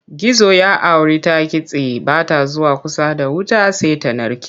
Gizo ya auri ta kitse ba ta zuwa kusa da wuta sai ta narke.